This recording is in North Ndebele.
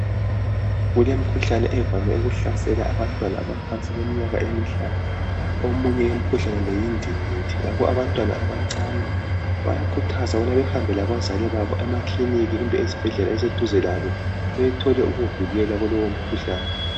Kulemkhuhlane evame ukuhlasela abantwana abaphansi kweminyaka emihlanu. Omunye yemkhuhlane le yindingindi. Ngakho abantwana abancane bayakhuthazwa ukubabehambe labazali babo emakliniki kumbe ezibhedlela eziseduze labo, beyethola ukuvikela kulowomkhuhlane.